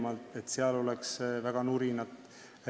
Ma ei tea, et seal oleks väga palju nurinat.